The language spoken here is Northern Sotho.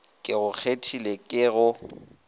ke go kgethile ke go